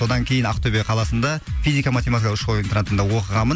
содан кейін ақтөбе қаласында физика математика школ интернатында оқығанмын